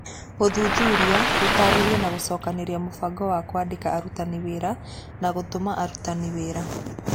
Gũthuthuria, gũtaarĩria na gũcokanĩrĩria mũbango wa kũandĩka arutani wĩra na gũtũma arutani wira.